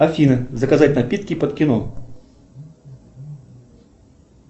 афина заказать напитки под кино